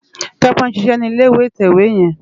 Tope n ṣiṣè ni ilé itèwé yèn